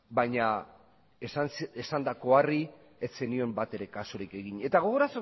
baina esandakoari ez zenion batere kasurik egin eta